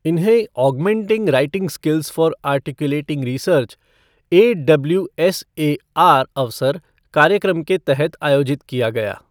इन्हें augmenting writing skills for articulating research AWSAR अवसर कार्यक्रम के तहत आयोजित किया गया।